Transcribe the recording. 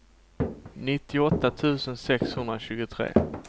nittioåtta tusen sexhundratjugotre